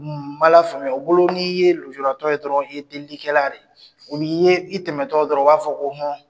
Ni b'a lafaamuya , u bolo n'i ye lujuratɔ ye dɔrɔn i ye delikɛla de ye , i tɛmɛtɔ dɔrɔn ,u b'a fɔ ko hɔn!